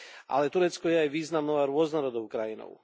Ale Turecko je aj významnou a rôznorodou krajinou.